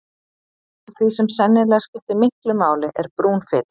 Eitt af því sem sennilega skiptir miklu máli er brún fita.